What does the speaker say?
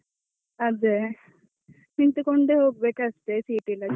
ಅದೇ ನಿಂತುಕೊಂಡೆ ಹೋಗ್ಬೇಕಾಕ್ತದೆ seat ಇಲ್ಲದಿದ್ರೆ.